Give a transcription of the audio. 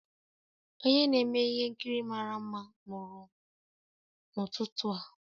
Onye na-eme ihe nkiri mara mma mụrụ n'ụtụtụ a